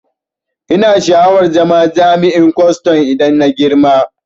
Ina sha'awar zama jami'in kwaston idan na girma